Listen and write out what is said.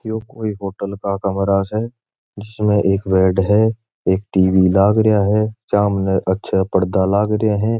यो कोई होटल का कमरा से जिसमे एक बेड है एक टीवी लागरिया है सामने अच्छा पर्दा लागरिया है।